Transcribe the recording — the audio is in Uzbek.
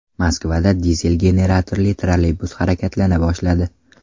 Moskvada dizel generatorli trolleybus harakatlana boshladi.